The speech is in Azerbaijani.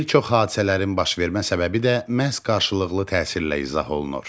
Bir çox hadisələrin baş vermə səbəbi də məhz qarşılıqlı təsirlə izah olunur.